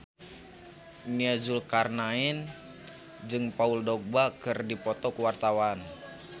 Nia Zulkarnaen jeung Paul Dogba keur dipoto ku wartawan